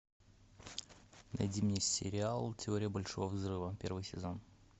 найди мне сериал теория большого взрыва первый сезон